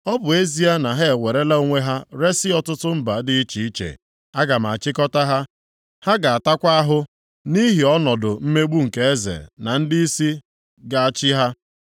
Ọ bụ ezie na ha ewerela onwe ha resi ọtụtụ mba dị iche iche, aga m achịkọta ha. Ha ga-atakwa ahụ nʼihi ọnọdụ mmegbu nke eze na ndịisi ga-achị ha.